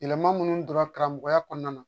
Yɛlɛma minnu donna karamɔgɔya kɔnɔna na